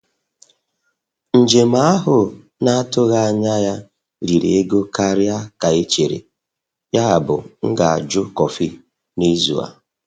Njem ahụ na-atụghị anya ya riri ego karịa ka e chere, yabụ m ga-ajụ kọfị n'izu a.